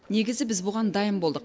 негізі біз бұған дайын болдық